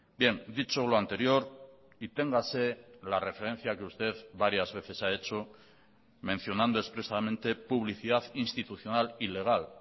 bien dicho lo anterior y téngase la referencia que usted varias veces ha hecho mencionando expresamente publicidad institucional ilegal